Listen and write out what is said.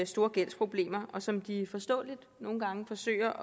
store gældsproblemer som de forståeligt nogle gange forsøger